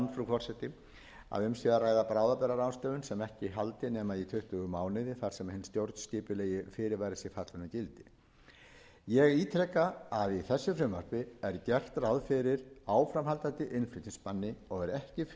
forseti að um sé að ræða bráðabirgðaráðstöfun sem ekki haldi nema í tuttugu mánuði þar til hinn stjórnskipulegi fyrirvari sé fallinn úr gildi ég ítreka að í þessu frumvarpi er gert ráð fyrir áframhaldandi innflutningsbanni og er ekki fyrirhugað